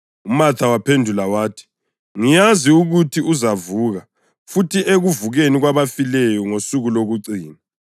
UMatha waphendula wathi, “Ngiyazi ukuthi uzavuka futhi ekuvukeni kwabafileyo ngosuku lokucina.”